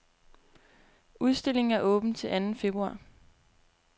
Udstillingen er åben til anden februar.